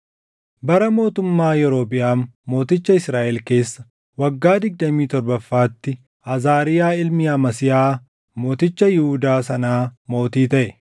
Bara mootummaa Yerobiʼaam mooticha Israaʼel keessa waggaa digdamii torbaffaatti, Azaariyaa ilmi Amasiyaa mooticha Yihuudaa sanaa mootii taʼe.